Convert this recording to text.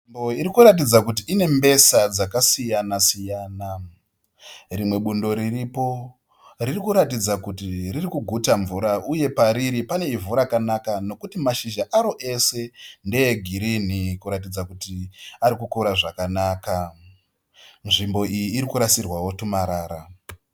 Nzvimbo irikuratidza kuti ine mbesa dzaka siyana-siyana. Rimwe bundo riripo ririkuratidza kuti ririkuguta mvura uye pariri pane ivhu rakanaka nokuti mashizha aro ese ndee girinhi, kuratidza kuti ari kukura zvakanaka. Nzvimbo iyi iri kurasirwawo tumarara.